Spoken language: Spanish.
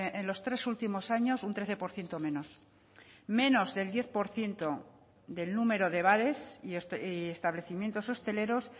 en los tres últimos años un trece por ciento menos menos del diez por ciento del número de bares y establecimientos hosteleros